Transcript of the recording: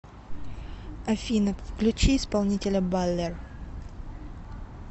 афина включи исполнителя баллер